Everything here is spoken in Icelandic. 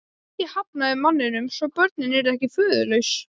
Ég hafnaði manninum svo börnin yrðu ekki föðurlaus.